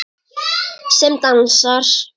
Sem dansar.